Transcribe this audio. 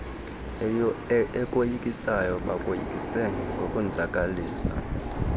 ekoyikisayo bakoyikise ngokukonzakalisa